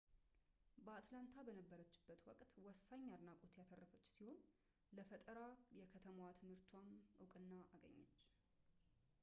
በአትላንታ በነበረችበት ወቅት ወሳኝ አድናቆት ያተረፈች ሲሆን ለፈጠራ የከተማ ትምህርትም እውቅና አገኘች